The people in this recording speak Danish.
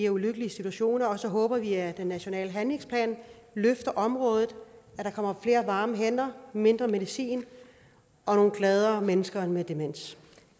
ulykkelige situationer og så håber vi at den nationale handlingsplan løfter området og at der kommer flere varme hænder mindre medicin og nogle gladere mennesker med demens